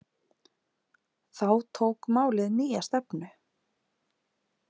Þá tók málið nýja stefnu.